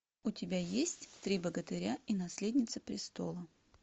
у тебя есть три богатыря и наследница престола